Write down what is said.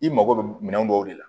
I mago bɛ minɛn dɔw de la